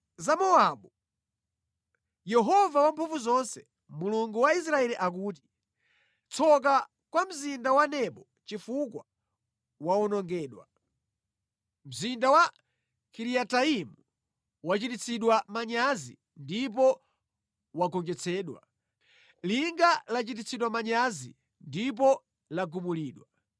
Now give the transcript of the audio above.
Ponena za Mowabu: Yehova Wamphamvuzonse, Mulungu wa Israeli akuti, “Tsoka kwa mzinda wa Nebo, chifukwa wawonongedwa. Mzinda wa Kiriyataimu wachititsidwa manyazi ndipo wagonjetsedwa; linga lichititsidwa manyazi ndipo lagumulidwa.